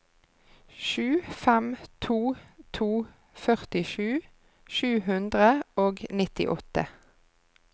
sju fem to to førtisju sju hundre og nittiåtte